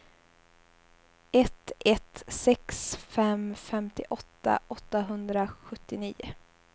ett ett sex fem femtioåtta åttahundrasjuttionio